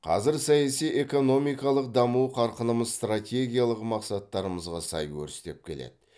қазір саяси экономикалық даму қарқынымыз стратегиялық мақсаттарымызға сай өрістеп келеді